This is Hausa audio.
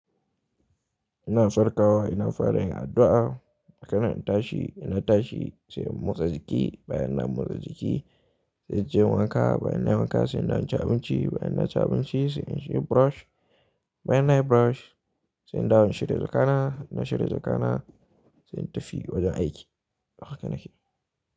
Ina farkawa, ina fara yin addu'a, daga nan in tashi, ina tashi sai in motsa jiki, bayan na motsa jiki sai inje in wanka, bayan nayi wanka sai in dawo inci abinci, bayan naci abinci sai inyi shiga brush, bayan nayi brush sai in dawo in shirya jakana, ina shirya jakana sai in tafi wajen aiki. Haka nake yi.